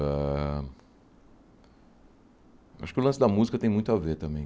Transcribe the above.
Ãh acho que o lance da música tem muito a ver também.